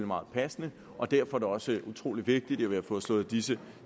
meget passende og derfor er det også utrolig vigtigt at vi har fået slået disse